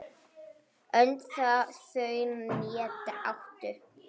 Önd þau né áttu